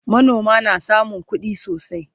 manoma na samun kuɗi sosai